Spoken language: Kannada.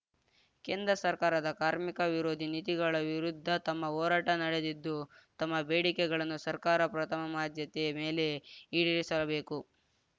ಕೇಂದ್ರ ಸರ್ಕಾರದ ಕಾರ್ಮಿಕ ವಿರೋಧಿ ನೀತಿಗಳ ವಿರುದ್ಧ ತಮ್ಮ ಹೋರಾಟ ನಡೆದಿದ್ದು ತಮ್ಮಬೇಡಿಕೆಗಳನ್ನು ಸರ್ಕಾರ ಪ್ರಥಮಾದ್ಯತೆ ಮೇಲೆ ಈಡೇರಿಸಬೇಕು